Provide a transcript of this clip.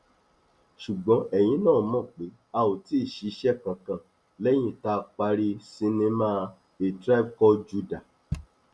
ṣùgbọn ẹyìn náà mọ pé a ò tí ì ṣiṣẹ kankan lẹyìn tá a parí sinimá a tribe called judah